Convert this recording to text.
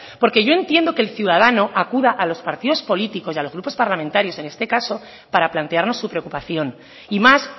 porque yo entiendo que el ciudadano acuda a los partidos políticos y a los grupos parlamentarios en este caso para plantearnos su preocupación y más